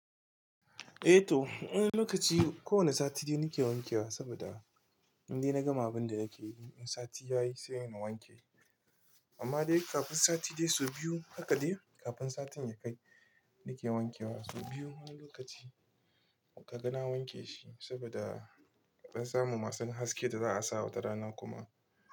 Eh to, wani lokaci kowani Sati nake wanke wa saboda inda na gama abin da yake yi, in sati ya yi sai na wanke. Amma dai kafin Satide sau biyu haka dai kafin satin ya kai nake wanke wa sau biyu. Wani lokaci ka ga na wanke shi saboda ka san masu haske da za a sa wa ta rana kuma.